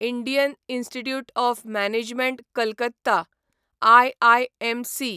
Indian Institute of Management Calcutta IIMC